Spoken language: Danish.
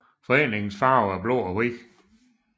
Foreningens farver er blå og hvid